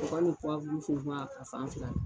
U kɔni bi fun fun a fan fila bɛɛ la.